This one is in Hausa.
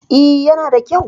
E, yana da kyau.